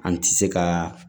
An ti se kaaa